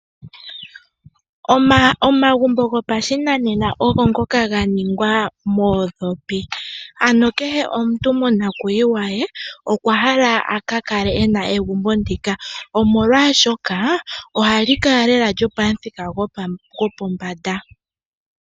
Omagumbo gopashinanena ogo ngoka ga ningwa moondhopi. Ano kehe omuntu monakuyiwa ye okwa hala a ka kale e na egumbo ndika omolwaashoka ohali kala lela lyopamuthika gopombanda.